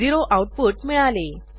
0 output मिळाले